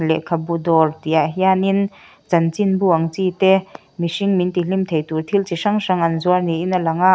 lehkhabu dawr tihah hianin chanchinbu ang chi te mihring min ti hlim thei tur thil chi hrang hrang an zuar niin a langa--